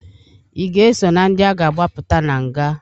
I ga-eso na ndị a ga-agbapụta na nga?